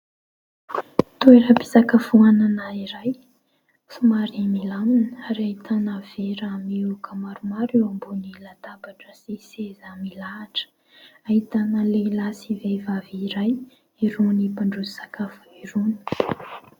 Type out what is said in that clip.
Toeram-pisakafoanana iray somary milamina. Ary ahitana vera miohaka maromaro eo amboniny latabatra sy seza milahatra. Ahitana lehilahy sy vehivavy iray, irony mpandroso sakafo irony.